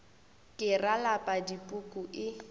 ke ra lapa dipuku e